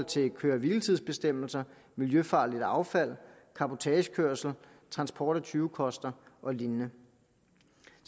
til køre hvile tids bestemmelser miljøfarligt affald cabotagekørsel transport af tyvekoster og lignende